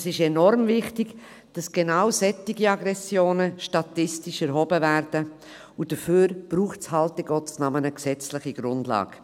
Es ist enorm wichtig, dass gerade solche Aggressionen statistisch erhoben werden, und dafür braucht es eben, in Gottes Namen, eine gesetzliche Grundlage.